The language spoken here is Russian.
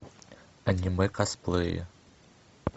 аниме косплеи